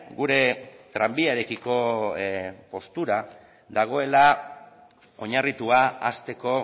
gure tranbiarekiko postura dagoela oinarritua hasteko